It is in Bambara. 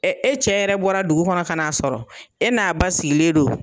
e cɛ yɛrɛ bɔra dugu kɔnɔ ka n'a sɔrɔ e n'a ba sigilen don.